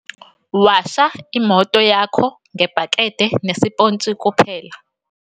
Washa imoto yakho ngebhakede nesiphontshi kuphela.